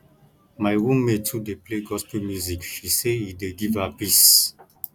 my roommate too dey play gospel music she say e dey give her peace